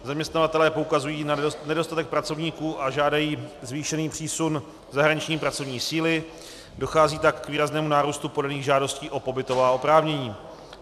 Zaměstnavatelé poukazují na nedostatek pracovníků a žádají zvýšený přísun zahraniční pracovní síly, dochází tak k výraznému nárůstu podaných žádostí o pobytová oprávnění.